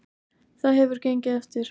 Það hefur gengið eftir.